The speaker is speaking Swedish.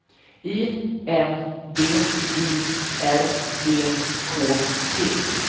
I N D I R E K T